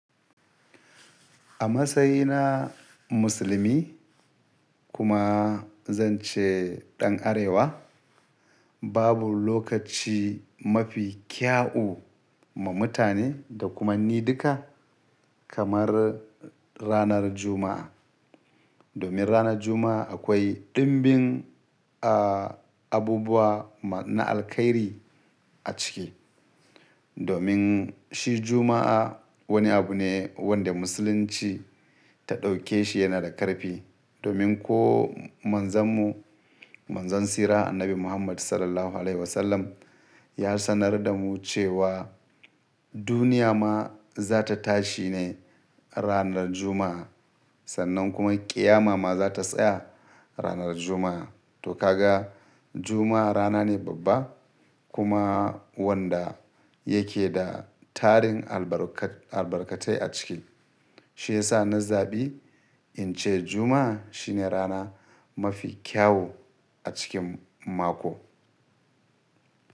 A matsayina musulmi kuma zan ce ɗan Arewa, babu lokaci mafi kyau ma mutane da kuma ni duka kamar ranar Juma'a. Domin ranar Juma'a akoi ɗimbin a abubuwan na alkhairi a ciki. Domin shi Juma'a woni abu ne wanda musulunci ta ɗauke shi yana da ƙarfi. Domin ko manzon mu, Manzon tsira Annabi Muhammad SAW ya sanar da mu cewa duniya ma za ta tashi ne ranar Juma'a. Sannan kuma ƙiyama ma za ta tsaya ranar Juma'a. To ka ga Juma'a rana ne babba kuma wanda yake da tarin albarkatai a ciki. Shi ya sa na zabi in ce Juma'a shine rana mafi kyau a cikin mako.